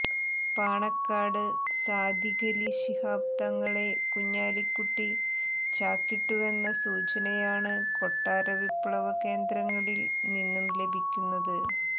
പാണക്കാട് സാദിഖലി ശിഹാബ് തങ്ങളെ കുഞ്ഞാലിക്കുട്ടി ചാക്കിട്ടുവെന്ന സൂചനയാണ് കൊട്ടാര വിപ്ലവ കേന്ദ്രങ്ങളിൽ നിന്നും ലഭിക്കുന്നത്